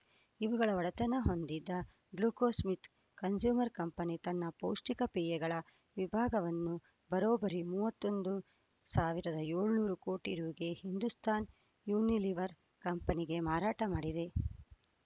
ಇವುಗಳ ಒಡೆತನ ಹೊಂದಿದ್ದ ಗ್ಲಾಕ್ಸೋಸ್ಮಿತ್‌ ಕನ್ಸೂಮರ್‌ ಕಂಪನಿ ತನ್ನ ಪೌಷ್ಟಿಕ ಪೇಯಗಳ ವಿಭಾಗವನ್ನು ಬರೋಬ್ಬರಿ ಮೂವತ್ತೊಂದು ಸಾವಿರದ ಏಳುನೂರು ಕೋಟಿ ರುಗೆ ಹಿಂದುಸ್ತಾನ್‌ ಯುನಿಲಿವರ್‌ ಕಂಪನಿಗೆ ಮಾರಾಟ ಮಾಡಿದೆ